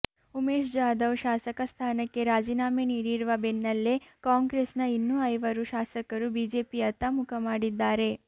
ಉಮೇಶ್ ಜಾಧವ್ ಶಾಸಕ ಸ್ಥಾನಕ್ಕೆ ರಾಜೀನಾಮೆ ನೀಡಿರುವ ಬೆನ್ನಲ್ಲೇ ಕಾಂಗ್ರೆಸ್ನ ಇನ್ನೂ ಐವರು ಶಾಸಕರು ಬಿಜೆಪಿಯತ್ತ ಮುಖ ಮಾಡಿದ್ದಾರೆ